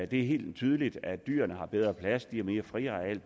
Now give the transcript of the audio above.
det er helt tydeligt at dyrene har bedre plads de har mere friareal